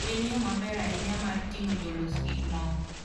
En yo maber ahinya mar ting'o jolos gik moko.